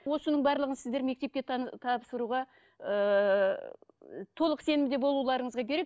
осының барлығын сіздер мектепке тапсыруға ыыы толық сенімде болуларыңыз керек